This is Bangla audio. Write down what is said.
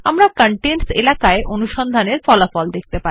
আমরা কনটেন্টস এলাকায় অনুসন্ধান এর ফলাফল দেখতে পাব